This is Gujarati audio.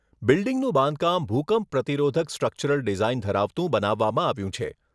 બિલ્ડીંગનું બાંધકામ ભુકંપ પ્રતિરોધક સ્ટ્રક્ચરલ ડિઝાઈન ધરાવતું બનાવવામાં આવ્યું છે.